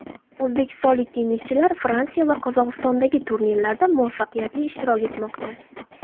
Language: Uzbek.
O‘zbekistonlik tennischilar Fransiya va Qozog‘istondagi turnirlarda muvaffaqiyatli ishtirok etmoqda.